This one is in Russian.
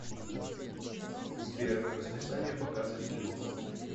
сбер расписание показа фильмов